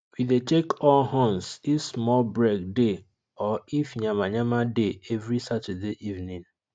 we dey check all horns if small break dey or if yamayama dey every saturday evening